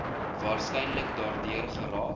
waarskynlik daardeur geraak